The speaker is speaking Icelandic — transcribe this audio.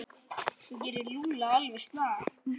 Þú gerir Lúlla alveg snar,